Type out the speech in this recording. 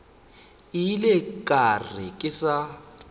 ile ka re ke sa